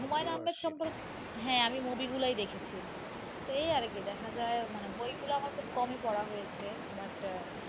হ্যাঁ আমি movie গুলাই দেখেছি উনার, তো এই আর কি দেখা যায় মানে বই গুলা আমার খুব কমই পড়া হয়েছে, but,